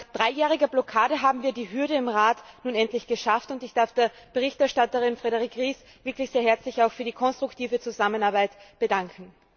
Nach dreijähriger Blockade haben wir die Hürde im Rat nun endlich geschafft, und ich darf der Berichterstatterin, Frédérique Ries, wirklich sehr herzlich auch für die konstruktive Zusammenarbeit danken.